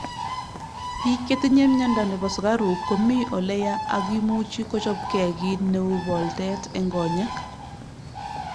Bik chetinye miondo nebo sukaruk komii ole yaa ak imuchi kochopke kit neu poolteet eng konyek